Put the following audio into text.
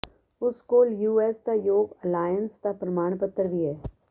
ਉਸ ਕੋਲ ਯੂਐਸ ਦੇ ਯੋਗਾ ਅਲਾਇੰਸ ਦਾ ਪ੍ਰਮਾਣ ਪੱਤਰ ਵੀ ਹੈ